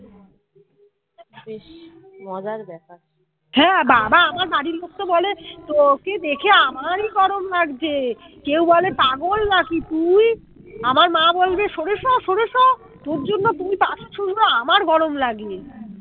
হ্যাঁ বাবা আমার বাড়ির লোক তো বলে তোকে দেখে আমারই গরম লাগছে। কেউ বলে পাগল নাকি তুই আমার মা বলবে সোরে সো সোরে সো তোর জন্য তুই কাছে শুস না আমার গরম লাগে।